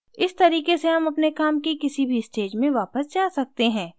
इस तरीके से हम अपने काम की किसी भी stage में वापस जा सकते हैं